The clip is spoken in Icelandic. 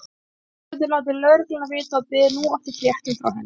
Þau höfðu látið lögregluna vita og biðu nú eftir fréttum frá henni.